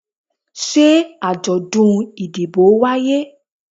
se ajodun idibo waye?